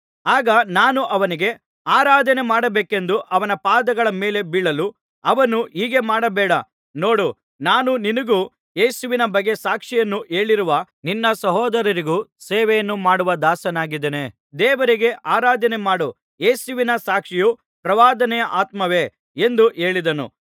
ಆಗ ನಾನು ಅವನಿಗೆ ಆರಾಧನೆ ಮಾಡಬೇಕೆಂದು ಅವನ ಪಾದಗಳ ಮೇಲೆ ಬೀಳಲು ಅವನು ಹೀಗೆ ಮಾಡಬೇಡ ನೋಡು ನಾನು ನಿನಗೂ ಯೇಸುವಿನ ಬಗ್ಗೆ ಸಾಕ್ಷಿಯನ್ನು ಹೇಳಿರುವ ನಿನ್ನ ಸಹೋದರರಿಗೂ ಸೇವೆಯನ್ನು ಮಾಡುವ ದಾಸನಾಗಿದ್ದೇನೆ ದೇವರಿಗೆ ಆರಾಧನೆ ಮಾಡು ಯೇಸುವಿನ ಸಾಕ್ಷಿಯು ಪ್ರವಾದನೆಯ ಆತ್ಮವೇ ಎಂದು ಹೇಳಿದನು